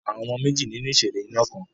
Àwọn ọmọ méjì nínú ìṣẹ̀lẹ̀ iná kan.